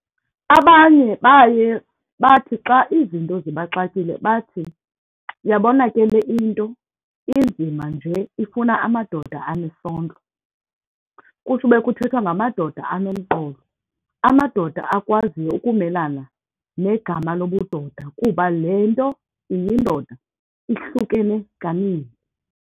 Abanye baye bathi xa izinto zibaxakile bathi, uyabona ke le into inzima nje ifuna amadoda anesondlo, kusube kuthethwa ngamadoda anomqolo, amadoda akwaziyo ukumelana negama lobudoda kuba lento iyindoda ihlukene kaninzi.